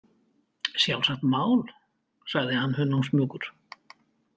Sjálfsagt mál, sagði hann hunangsmjúkur.